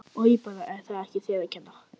Oj bara en það er ekki þér að kenna